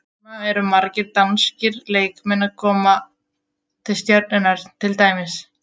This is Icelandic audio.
Núna eru margir danskir leikmenn að koma til Stjörnunnar til dæmis.